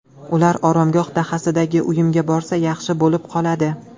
Ular Oromgoh dahasidagi uyimga borsa, yaxshi bo‘lib qoladi.